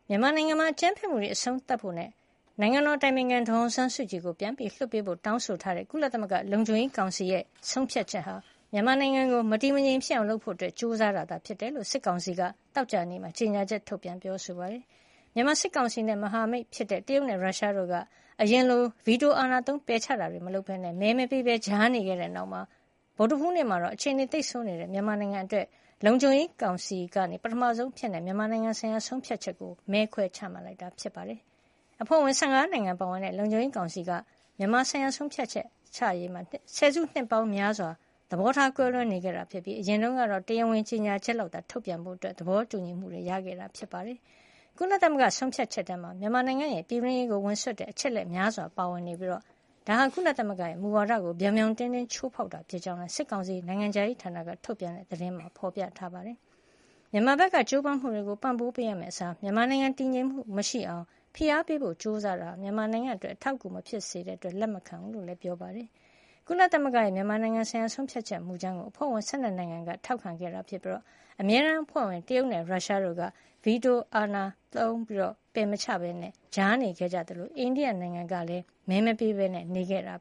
မြန်မာနိုင်ငံမှာ အကြမ်းဖက်မှုတွေ အဆုံးသတ်ဖို့နဲ့ နိုင်ငံတော်အတိုင်ပင်ခံ ဒေါ်အောင်ဆန်းစုကြည်ကို ပြန်လွှတ်ပေးဖို့ တောင်းဆိုထားတဲ့ ကုလသမဂ္ဂလုံခြုံရေးကောင်စီရဲ့ ဆုံးဖြတ်ချက်ဟာ မြန်မာနိုင်ငံကို မတည်မငြိမ်ဖြစ်အောင် လုပ်ဖို့ ကြိုးစားတာ ဖြစ်ကြောင်း စစ်ကောင်စီက သောကြာနေ့မှာ ကြေညာချက် ထုတ်ပြန်ပြောဆိုပါတယ်။ မြန်မာစစ်ကောင်စီနဲ့ မဟာမိတ်ဖြစ်တဲ့ တရုတ်နဲ့ ရုရှားတို့က အရင်လို ဗီတိုအာဏာသုံး ပယ်ချတာတွေမလုပ်ပဲ မဲမပေးပဲ ကြားနေခဲ့တဲ့နောက် ဗုဒ္ဓဟူးနေ့မှာတော့ အခြေနေသိပ်ဆိုးနေတဲ့ မြန်မာနိုင်ငံအတွက် လုံခြုံရေးကောင်စီက ပထမဆုံးအဖြစ် မြန်မာနိုင်ငံဆိုင်ရာ ဆုံးဖြတ်ချက် ကိုမဲခွဲပြီး ချမှတ်လိုက်တာ ဖြစ်ပါတယ်။ အဖွဲ့ဝင် ၁၅ နိုင်ငံ ပါဝင်တဲ့ လုံခြုံရေးကောင်စီက မြန်မာဆိုင်ရာဆုံးဖြတ်ချက်ချရေးမှာ ဆယ်စုနှစ်ပေါင်းများစွာ သဘောထား ကွဲလွဲနေတာ ဖြစ်ပြီး အရင်တုန်းကတော့ တရားဝင်ကြေညာချက်လောက်သာ ထုတ်ပြန်ဖို့ သဘောတူညီမှု ရခဲ့ကြတာ ဖြစ်ပါတယ်။ ကုလသမဂ္ဂဆုံးဖြတ်ချက်ထဲမှာ မြန်မာနိုင်ငံရဲ့ ပြည်တွင်းရေးကိုဝင်စွက်တဲ့ အချက်အလက် များစွာပါဝင်နေပြီး ဒါဟာ ကုလသမဂ္ဂရဲ့ မူဝါဒကို ပြောင်ပြောင်တင်းတင်း ချိုးဖေါက်တာ ဖြစ်ကြောင်းလည်း စစ်ကောင်စီ နိုင်ငံခြားရေးဌာနက ထုတ်ပြန်တဲ့ ကြေညာချက်မှာ ဖေါ်ပြပါတယ်။ မြန်မာဘက်က ကြိုးပမ်းမှုတွေကို ပံ့ပိုးပေးရမယ့်အစား မြန်မာနိုင်ငံတည်ငြိမ်မှု မရှိအောင် ဖိအားပေးဖို့ ကြိုးစားတာဟာ မြန်မာနိုင်ငံအတွက် အထောက်အကူမဖြစ်တဲ့ အတွက် လက်ခံမှာမဟုတ်ကြောင်းလည်း ပြောပါတယ်။ ကုလသမဂ္ဂရဲ့ မြန်မာနိုင်ငံဆိုင်ရာ ဆုံးဖြတ်ချက်မူကြမ်းကို အဖွဲ့ဝင် ၁၂ နိုင်ငံက ထောက်ခံခဲ့တာ ဖြစ်ပြီး အမြဲတမ်းအဖွဲ့ဝင် တရုတ်နဲ့ ရုရှားတို့က ဗီတိုအာဏာသုံး ပယ်မချခဲ့ပဲ ကြားနေခဲ့ကြသလို အိန္ဒိယကလည်း မဲမပေးပဲနေခဲ့တာ